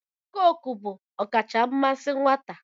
Cookuu bụ ọkacha mmasị nwata.